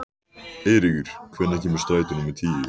Eiríkur, hvenær kemur strætó númer tíu?